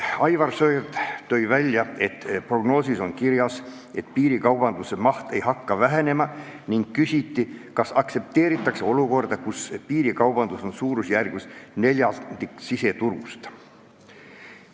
Aivar Sõerd tõi välja, et prognoosis on kirjas, et piirikaubanduse maht ei hakka vähenema, ning küsis, kas aktsepteeritakse olukorda, kus piirikaubanduse suurusjärk on neljandik siseturust.